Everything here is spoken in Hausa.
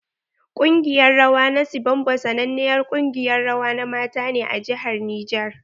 Kungiƴar rawa na sibombo sanannen kungiƴar rawa na mata ne a jihar niger.